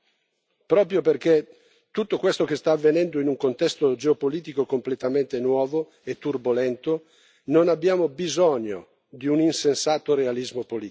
Proprio perché tutto questo sta avvenendo in un contesto geopolitico completamente nuovo e turbolento, non abbiamo bisogno di un insensato realismo politico.